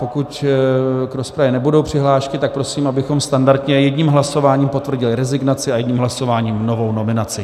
Pokud k rozpravě nebudou přihlášky, tak prosím, abychom standardně jedním hlasováním potvrdili rezignaci a jedním hlasováním novou nominaci.